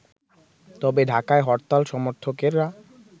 তবে ঢাকায় হরতাল সমর্থকেরা